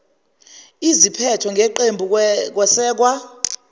iziphetho ngeqembu kwesekwa